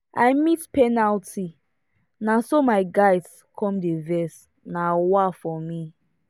i miss penalty naso my guys come dey vex um for me